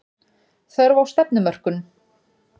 Þörf á stefnumörkun